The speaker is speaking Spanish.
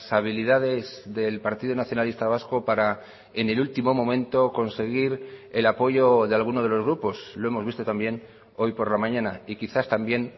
habilidades del partido nacionalista vasco para enel último momento conseguir el apoyo de alguno de los grupos lo hemos visto también hoy por la mañana y quizás también